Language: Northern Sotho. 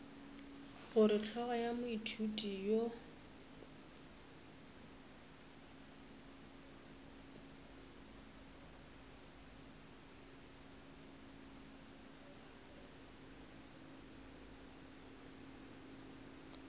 gore hlogo ya moithuti yo